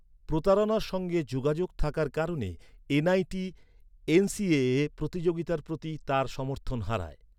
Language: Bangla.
প্রতারণার সঙ্গে যোগাযোগ থাকার কারণে এনআইটি এনসিএএ প্রতিযোগিতার প্রতি তার সমর্থন হারায়।